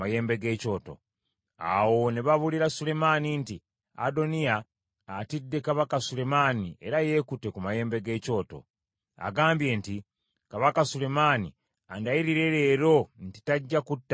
Awo ne babuulira Sulemaani nti, “Adoniya atidde kabaka Sulemaani era yeekutte ku mayembe g’ekyoto. Agambye nti, ‘Kabaka Sulemaani andayirire leero nti tajja kutta muddu we n’ekitala.’ ”